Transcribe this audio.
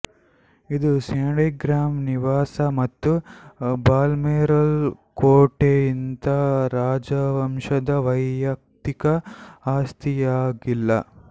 ಇದು ಸ್ಯಾಂಡ್ರಿಂಗ್ಹ್ಯಾಮ್ ನಿವಾಸ ಮತ್ತು ಬಾಲ್ಮೊರಲ್ ಕೋಟೆಯಂತೆ ರಾಜವಂಶದ ವೈಯಕ್ತಿಕ ಆಸ್ತಿಯಾಗಿಲ್ಲ